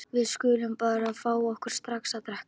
Við skulum bara fá okkur strax að drekka.